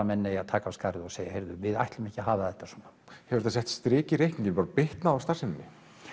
menn eigi að taka á skarið og segja heyrðu við ætlum ekki að hafa þetta svona hefur þetta sett strik í reikninginn bitnað á starfseminni